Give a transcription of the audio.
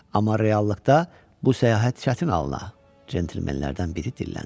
Amma reallıqda bu səyahət çətin alına, centlemenlərdən biri dilləndi.